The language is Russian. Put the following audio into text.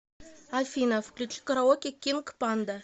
афина включи караоке кинг панда